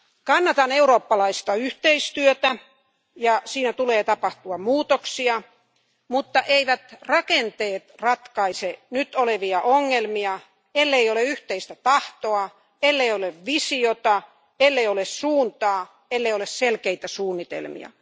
Kannatan eurooppalaista yhteistyötä, ja siinä tulee tapahtua muutoksia, mutta eivät rakenteet ratkaise nykyisiä ongelmia, ellei ole yhteistä tahtoa, ellei ole visiota, ellei ole suuntaa, ellei ole selkeitä suunnitelmia.